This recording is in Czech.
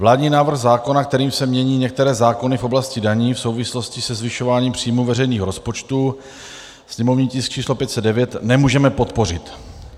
Vládní návrh zákona, kterým se mění některé zákony v oblasti daní v souvislosti se zvyšováním příjmů veřejných rozpočtů, sněmovní tisk č. 509, nemůžeme podpořit.